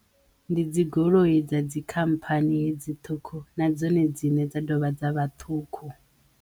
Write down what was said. Ndi dzi goloi dza dzikhamphani hedzi ṱhukhu na dzone dziṋe dza dovha dza vha ṱhukhu.